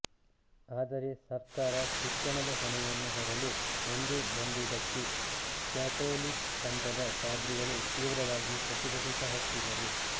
ಆದರೆ ಸರ್ಕಾರ ಶಿಕ್ಷಣದ ಹೊಣೆಯನ್ನು ಹೊರಲು ಮುಂದೆ ಬಂದುದಕ್ಕೆ ಕ್ಯಾತೊಲಿಕ್ ಪಂಥದ ಪಾದ್ರಿಗಳು ತೀವ್ರವಾಗಿ ಪ್ರತಿಭಟಿಸ ಹತ್ತಿದರು